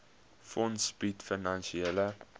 fonds bied finansiële